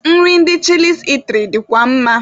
Nri ndị Chịlịs itiri dịkwa mma.